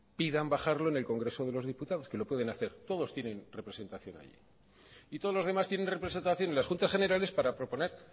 pidan bajarlo en el congreso de los diputados que lo pueden hacer todos tienen representación allí y todos los demás tienen representación en las juntas generales para proponer